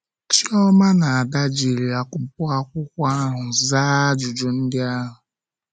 Chioma na Ada jiri akwụkwọ akwụkwọ ahụ zaa ajụjụ ndị ahụ.